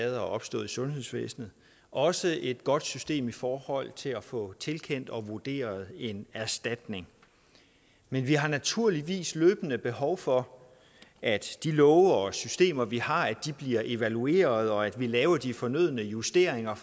der er opstået i sundhedsvæsenet og også et godt system i forhold til at få tilkendt og vurderet en erstatning men vi har naturligvis løbende behov for at de love og systemer vi har bliver evalueret og at vi laver de fornødne justeringer